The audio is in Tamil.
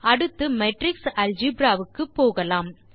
அடுத்து மேட்ரிக்ஸ் அல்ஜெப்ரா க்கு போகலாம்